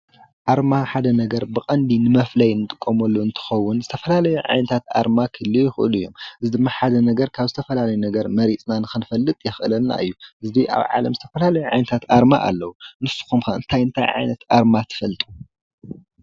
ኣርማ ሓደ ነገር ብቐንዲ ንመፍለዪ ንጥቀመሉ እንትኸውን ዝተፈላለዩ ዓይነታት ኣርማ ክህልዉ ይኽእሉ እዮም፡፡ እዚ ድማ ሓደ ነገር ካብ ዝተፈላለየ ነገር መሪፅና ንኽንፈልጥ ዘኽእለና እዩ፡፡ ሕዚ ኣብ ዓለም ዝተፈላለዩ ዓይነታት ኣርማ ኣለዉ እዩ፡፡ ንስኹም ከ እንታ እንታይ ዓይነት ኣርማ ትፈልጡ?